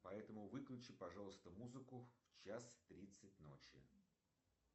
поэтому выключи пожалуйста музыку в час тридцать ночи